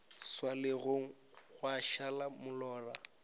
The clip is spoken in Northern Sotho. swa legong gwa šala molora